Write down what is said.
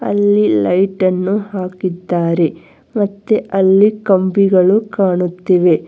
ಅಲ್ಲಿ ಲೈಟ್ ಅನ್ನು ಹಾಕಿದ್ದಾರೆ ಮತ್ತೆ ಅಲ್ಲಿ ಕಂಬಿಗಳು ಕಾಣುತ್ತಿವೆ.